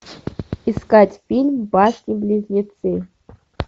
искать фильм башни близнецы